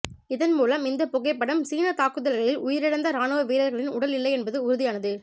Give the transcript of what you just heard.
இதன் மூலம் இந்த புகைப்படம் சீன தாக்குதலில் உயிரிழந்த ராணுவ வீரர்களின் உடல் இல்லை என்பது உறுதியானது